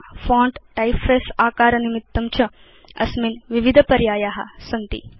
font typeface आकार निमित्तं च अस्मिन् विविध पर्याया सन्ति